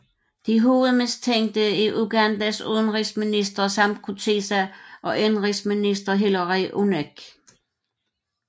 De hovedmistænkte er Ugandas udenrigsminister Sam Kutesa og indenrigsminister Hillary Onek